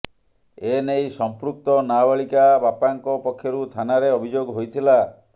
ଏ ନେଇ ସଂପୃକ୍ତ ନାବାଳିକା ବାପାଙ୍କ ପକ୍ଷରୁ ଥାନାରେ ଅଭିଯୋଗ ହୋଇଥିଲା